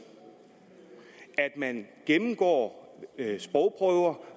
at man gennemgår sprogprøver